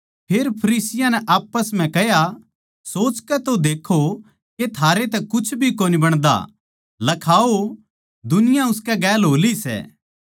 फेर फरिसियाँ नै आप्पस म्ह कह्या सोचकै तो देक्खो के थारे तै कुछ भी कोनी बणदा लखाओ दुनिया उसकै गेल हो ली सै